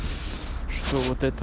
что вот это